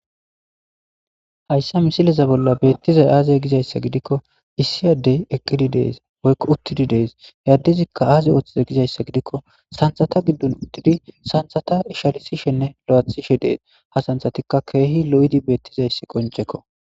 hayssa misileza bolla beettizay aaze gizayssa gidikko issi addey eqqidi dees woyko uttidi dees yaddizikka aaze ooththiza gizayssa gidikko santhata giddon uttidi santhata ishalisishenne lo7athishe dees ha santhatikka keehi lo7idi beettizayssi qoncekko